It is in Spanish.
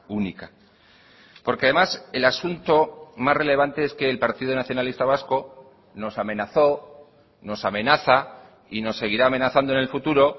única porque además el asunto más relevante es que el partido nacionalista vasco nos amenazó nos amenaza y nos seguirá amenazando en el futuro